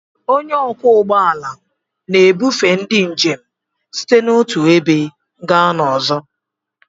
Onye ọkwọ ụgbọ ala na-ebufe ndị njem site n'otu ebe gaa n'ọzọ.